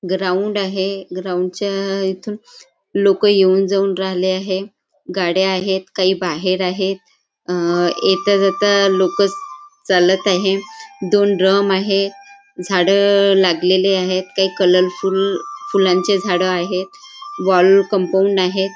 Ground आहे ग्राउंडच्या इथून लोक येऊन जाऊन राहिले आहे गाड्या आहेत काही बाहेर आहेत आ येता जाता लोक चालत आहे दोन ड्रम आहे झाड लागलेली आहेत काही कलर फूल फुलांचे झाड आहेत वॉल कंपाऊंड आहे.